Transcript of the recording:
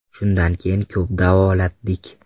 Shundan keyin ko‘p davolatdik.